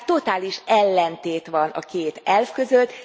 Tehát totális ellentét van a két elv között.